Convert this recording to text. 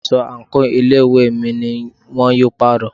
Aṣọ àǹkóò ilé ìwé mi ni wón yóò pàrọ̀.